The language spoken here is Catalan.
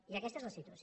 i aquesta és la situació